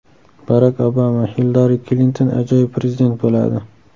Barak Obama: Hillari Klinton ajoyib prezident bo‘ladi.